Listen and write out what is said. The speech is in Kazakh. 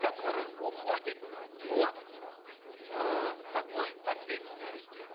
которые уходят от эээ такой ответственности